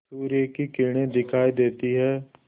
सूर्य की किरणें दिखाई देती हैं